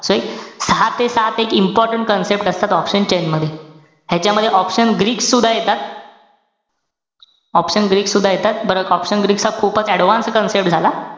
So एक सहा ते सात important concept असतात option chain मध्ये. ह्यांच्यामध्ये option greek सुद्धा येतात. option greek सुद्धा येतात. बराच option greek चा खूपच advanced concept झाला.